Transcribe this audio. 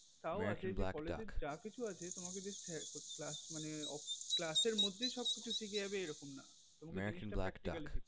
তাও আছে college এ যা কিছু আছে তোমাকে class মানে class এর মধ্যে শিখে যাবে এমনটা না তোমাকে জিনিসটা practical শিখতে হবে